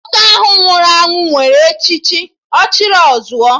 Nwoke ahụ nwụrụ anwụ nwere echichi 'Ọchịrị ọ zụọ'